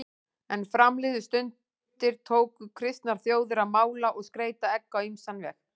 Er fram liðu stundir tóku kristnar þjóðir að mála og skreyta egg á ýmsan veg.